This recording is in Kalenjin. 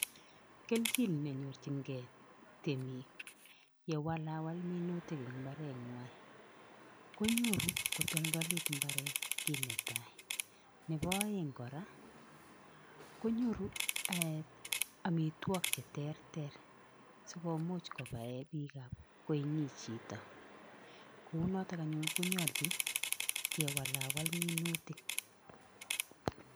Kelchin nenyorchinkei temik ye walawal minutik eng imbarengwai konyoru kotoldolit imbareet kiit ne tai, nebo aeng kora konyoru amitwokik che terter sikomuch kobae koinyin chito, kounoto anyuun konyolchin kewalawal minutik.